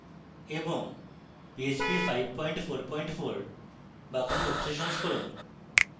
php 544 বা কোনো উচ্চ সংস্করণ